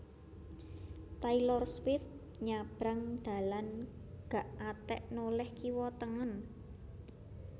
Taylor Swift nyabrang dalan gak atek noleh kiwa tengen